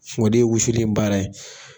Fɔ o de ye wusuli in baara ye